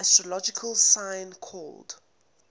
astrological sign called